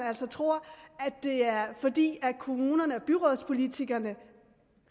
altså tror at det er fordi kommunerne og byrådspolitikerne